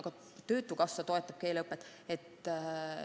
Ka töötukassa toetab keeleõpet.